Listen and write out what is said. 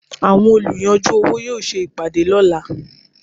Àwọn olùyanjú owó yóò ṣe ìpàdé lọ́la.